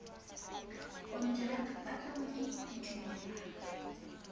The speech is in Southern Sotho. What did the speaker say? konteraka ba tlangwa ke ditumellano